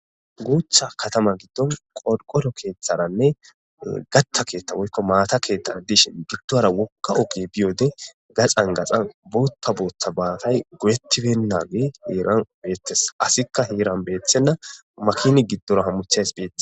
guucthcha katama giddon qodqoro keeththaranne gatta keettha woykko maata keeththara dishin giddora wokka oge biyode gaxan gaxan bootta boota baatay goyettibennaage heeran beetes asikka heeran beethenna makini giddora hammuchays beethe